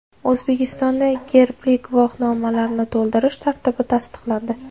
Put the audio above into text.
O‘zbekistonda gerbli guvohnomalarni to‘ldirish tartibi tasdiqlandi.